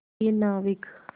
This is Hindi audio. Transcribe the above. प्रिय नाविक